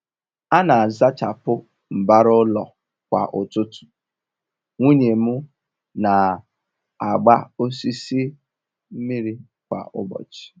A n'azachapụ mbara ụlọ kwa ụtụtụ, nwunye m n'agba osisi mmiri kwa ụbọchị